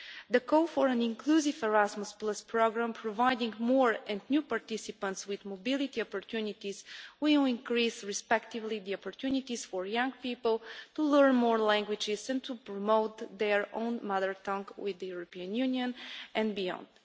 The call for an inclusive Erasmus programme, providing more and new participants with mobility opportunities, will increase the opportunities for young people both to learn more languages and to promote their own mother tongue with the European Union and beyond.